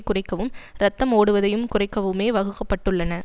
குறைக்கவும் ரத்தம் ஓடுவதையும் குறைக்கவுமே வகுக்க பட்டுள்ளன